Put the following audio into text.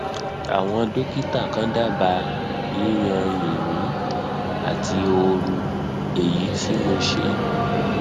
àwọn dókítà kan dábàá yíyan yìnyín àti ooru èyí tí mo ṣe